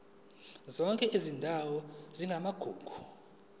zonke izindawo ezingamagugu